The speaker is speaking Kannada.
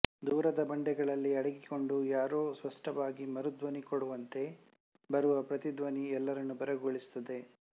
ದೂರದ ಬಂಡೆಗಳಲ್ಲಿ ಅಡಗಿಕೊಂಡು ಯಾರೋ ಸ್ಪಷ್ಟವಾಗಿ ಮರುಧ್ವನಿ ಕೊಡುವಂತೆ ಬರುವ ಪ್ರತಿಧ್ವನಿ ಎಲ್ಲರನ್ನೂ ಬೆರಗುಗೊಳಿಸುತ್ತದೆ